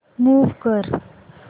move कर